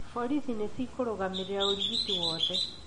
Borithi nĩ ciikũrũgamĩrĩra ũrigiti wothe